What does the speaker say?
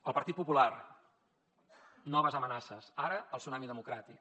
al partit popular noves amenaces ara al tsunami democràtic